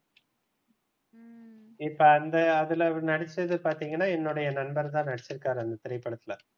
இப்ப அந்த அதுல நடிச்சது பாத்தீங்கன்னா என்னுடைய நண்பர் தான் நடிச்சிருக்காரு அந்த திரைப்படத்துல,